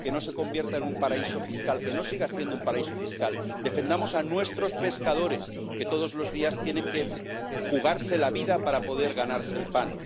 que no se convierta en un paraíso fiscal, que no siga siendo un paraíso fiscal. Defendamos a nuestros pescadores, que todos los días tienen que jugarse la vida para poder ganarse el pan.